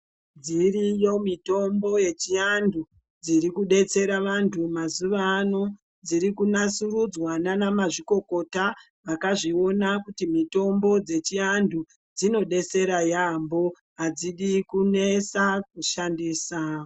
Dziriyo mitombo yechiantu dzirikudetsera vantu mazuvaano dzirikunasurudzwa nanamazvikokota vakazviona kuti mitombo dzechiantu dzinodetsera yaambo, adzidi kunesa kushandisa.